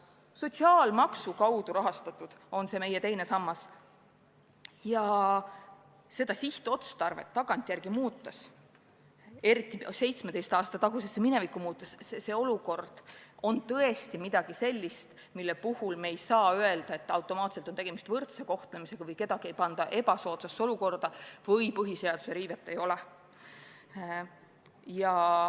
See meie teine sammas on sotsiaalmaksu kaudu rahastatud ja kui seda sihtotstarvet tagantjärele muudetakse, eriti pärast 17 aastat muudetakse, siis see on tõesti midagi sellist, mille puhul me ei saa öelda, et automaatselt on tegemist võrdse kohtlemisega või kedagi ei panda ebasoodsasse olukorda või põhiseaduse riivet ei ole.